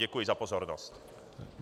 Děkuji za pozornost.